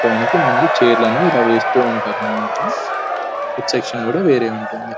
ముందు చైర్లు అనేవి ఇలా వేస్తూ ఉంటారు అన్నమాట ఫుడ్సె సెక్షన్ కూడా వేరే ఉంటుంది.